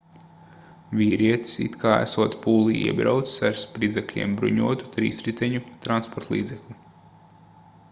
vīrietis it kā esot pūlī iebraucis ar spridzekļiem bruņotu trīsriteņu transportlīdzekli